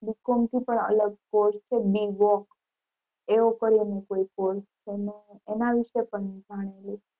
Bcom થી પણ અલગ course છે Bvoc એવો કરી ને કોઈ course છે ને એના વિશે પણ જાણી લેશું.